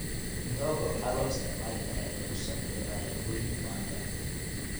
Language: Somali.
Mihogo waxaa loo isticmaali karaa in lagu sameeyo alaabooyin wanga.